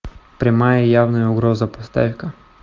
прямая явная угроза поставь ка